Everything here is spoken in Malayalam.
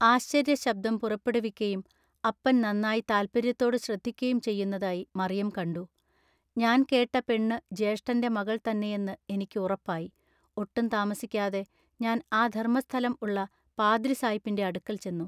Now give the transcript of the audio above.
ആശ്ചൎയ്യശബ്ദം പുറപ്പെടുവിക്കയും അപ്പൻ നന്നാ താല്പൎയ്യത്തോടു ശ്രദ്ധിക്കയും ചെയ്യുന്നതായി മറിയം കണ്ടു__ ഞാൻ കേട്ട പെണ്ണു ജ്യേഷ്ഠന്റെ മകൾ തന്നെയെന്നു ഇനിക്കു ഉറപ്പായി ഒട്ടും താമസിക്കാതെ ഞാൻ ആ ധൎമ്മസ്ഥലം ഉള്ള പാദ്രിസായ്പിന്റെ അടുക്കൽ ചെന്നു.